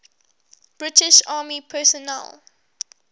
british army personnel